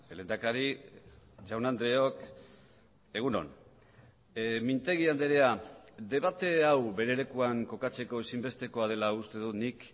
lehendakari jaun andreok egun on mintegi andrea debate hau bere lekuan kokatzeko ezinbestekoa dela uste dut nik